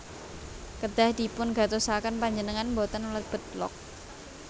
Kedah dipun gatosaken Panjenengan boten mlebet log